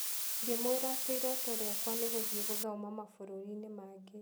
Ngĩmwĩra atĩ iroto rĩakwa nĩ gũthiĩ gũthoma mabũrũri-inĩ mangĩ